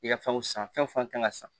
I ka fɛnw san fɛn kan ka san